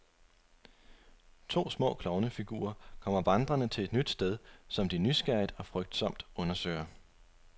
To små klovnefigurer kommer vandrende til et nyt sted, som de nysgerrigt og frygtsomt undersøger.